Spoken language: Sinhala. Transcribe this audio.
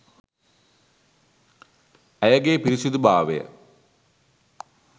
ඇයගේ පිරිසුදු භාවය